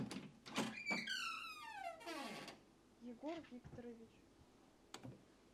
егор викторович